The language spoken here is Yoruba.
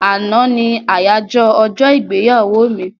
Àná ní àyájọ́ ọjọ́-ìgbéyàwó mi.